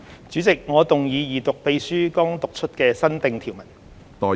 主席，我動議二讀秘書剛讀出的新訂條文。